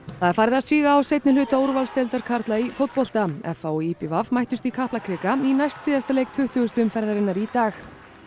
það er farið að síga á seinni hluta úrvalsdeildar karla í fótbolta f h og í b v mættust í Kaplakrika í næstsíðasta leik tuttugasta umferðarinnar í dag